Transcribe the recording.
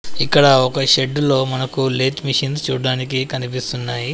ఇక్కడ ఒక షెడ్డులో మనకు లేత్ మిషిన్స్ చూడ్డానికి కనిపిస్తున్నాయి.